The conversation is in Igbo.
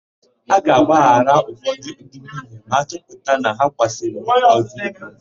A ga-agbaghara ụfọdụ ndị nwunye ma a chọpụta na ha kwasoro nwoke ọ̀zọ́ iko.